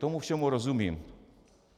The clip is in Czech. Tomu všemu rozumím.